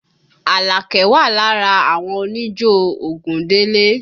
Àlàkẹ́ wà lára àwọn oníjó Ògúndélé